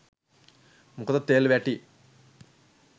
මොකද තෙල් වැටි